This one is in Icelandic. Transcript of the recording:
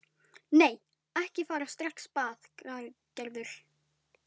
Nei, ekki fara strax bað Gerður.